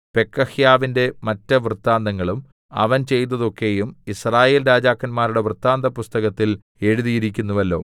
പെക്കഹ്യാവിന്റെ മറ്റ് വൃത്താന്തങ്ങളും അവൻ ചെയ്തതൊക്കെയും യിസ്രായേൽ രാജാക്കന്മാരുടെ വൃത്താന്തപുസ്തകത്തിൽ എഴുതിയിരിക്കുന്നുവല്ലോ